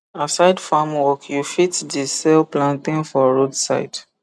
aside farm work u fit the sell plantain for road side